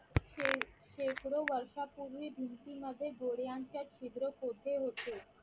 शे शेकडो वर्षापूर्वी भिंतीमध्ये गोड्यांच्या छिद्र कोरले होते